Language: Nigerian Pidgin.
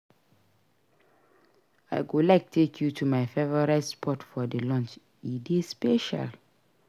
I go like take you to my favorite spot for lunch; e dey special.